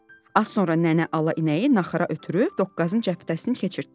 Az sonra nənə ala inəyi naxıra ötürüb doqqazın cəpətəsini keçirtdi.